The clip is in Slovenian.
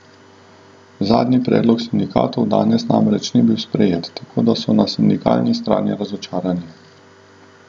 Zadnji predlog sindikatov danes namreč ni bil sprejet, tako da so na sindikalni strani razočarani.